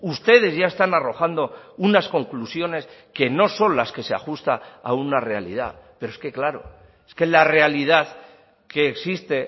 ustedes ya están arrojando unas conclusiones que no son las que se ajusta a una realidad pero es que claro es que la realidad que existe